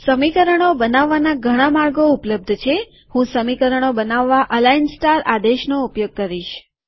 સમીકરણો બનાવવાના ઘણા માર્ગો ઉપલબ્ધ છેહું સમીકરણો બનાવવા અલાઈન સ્ટાર આદેશનો ઉપયોગ કરીશ